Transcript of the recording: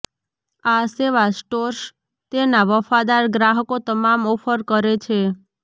આ સેવા સ્ટોર્સ તેના વફાદાર ગ્રાહકો તમામ ઓફર કરે છે